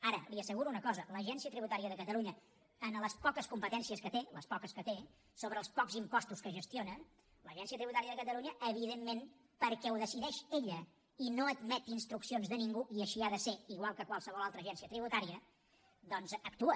ara li asseguro una cosa l’agència tributària de catalunya en les poques competències que té les poques que té sobre els pocs impostos que gestiona evidentment perquè ho decideix ella i no admet instruccions de ningú i així ha de ser igual que qualsevol altra agència tributària doncs actua